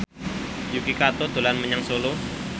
Yuki Kato dolan menyang Solo